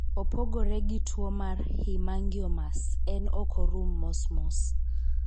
Opogore gi tuo mar hemangiomas, en ok orum mos mos.